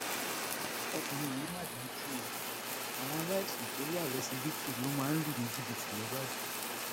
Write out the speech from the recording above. ọkùnrin yìí mà dájú o àwọn aláìsàn tó wà lọsibítù ló máa ń lù ní jìbìtì nìbàdàn